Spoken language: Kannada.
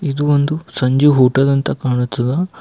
ಇದು ಒಂದು ಸಂಜು ಹೋಟೆಲ್ ಅಂತ ಕಾಣುತ್ತದ.